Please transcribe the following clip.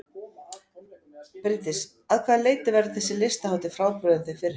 Bryndís: Að hvaða leyti verður þessi listahátíð frábrugðin þeim fyrri?